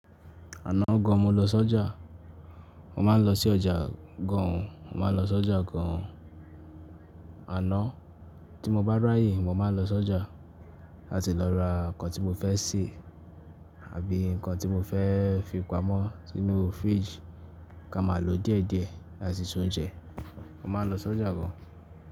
Àná gan mo lọ sọ́jà. Mo máa ń lọ sí ọjà gan, mo máa ń lọ sọ́jà gan. Àná tí mo bá ráyè, mo máa ń lọ sọ́jà láti lọ ra nǹkan tí mo fẹ́ sè àbí nǹkan tí mo fẹ́ fi pamọ́ sínú fridge kí a máa lò díẹ̀ díẹ̀ láti ṣe oúnjẹ. Mo máa ń lọ sọ́jà gan.